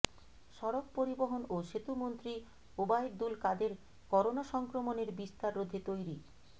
সড়ক পরিবহন ও সেতুমন্ত্রী ওবায়দুল কাদের করোনা সংক্রমণের বিস্তার রোধে তৈরি